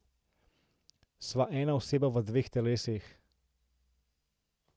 Sva ena oseba v dveh telesih.